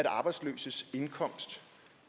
arbejdsløses indkomst